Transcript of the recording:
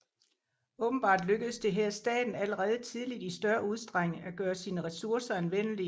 Åbenbart lykkedes det her staten allerede tidligt i større udstrækning at gøre sine ressourcer anvendelige